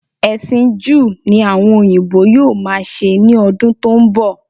Ẹ̀sìn Júù ni àwọn òyìnbó yóò máa ṣe ní ọdún tó ń bọ̀